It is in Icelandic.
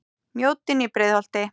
Mjóddin í Breiðholti.